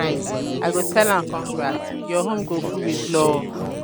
for birthday i fit hail my padi "omo happy birthday! enjoy today well well!"